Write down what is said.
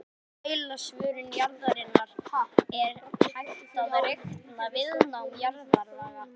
Frá mældri svörun jarðarinnar er hægt að reikna viðnám jarðlaga.